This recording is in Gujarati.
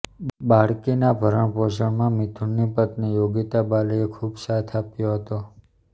બાળકીના ભરણપોષણમાં મિથુનની પત્ની યોગિતા બાલીએ ખૂબ સાથ આપ્યો હતો